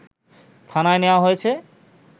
থানায় নেয়া হয়েছে